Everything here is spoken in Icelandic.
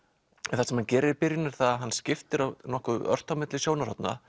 en það sem hann gerir í byrjun er að hann skiptir nokkuð ört á milli sjónarhorna